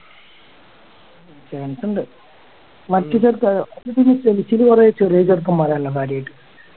chance ഉണ്ട് ഇപ്പൊ ഈ chelsea ല് കൊറേ ചെറിയ ചെറുക്കൻമാരാണല്ലോ കാര്യായിട്ട്